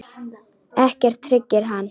Ekkert hryggir hann.